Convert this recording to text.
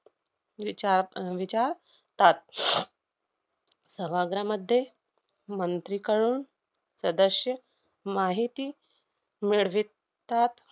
विचार~ अह विचारतात. सभाग्रहामध्ये मंत्रीकडून सदस्य माहिती मिळवितात.